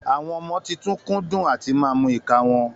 Àwọn ọmọ titun kúndún àtímà mú ìka wọn